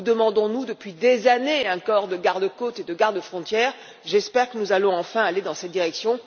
Nous demandons depuis des années un corps de gardes côtes et de gardes frontières. J'espère que nous allons enfin aller dans cette direction.